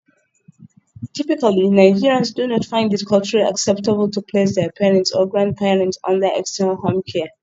Typically Nigerians do not find it culturally acceptable to place their parents or grandparents under 'external' home care.